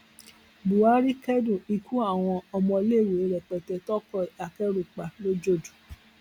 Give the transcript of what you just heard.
buhari kẹdùn ikú àwọn ọmọléèwé rẹpẹtẹ toko akẹrù pa lọjọdù